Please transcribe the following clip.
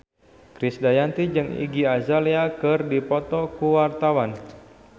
Krisdayanti jeung Iggy Azalea keur dipoto ku wartawan